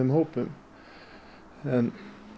hópum en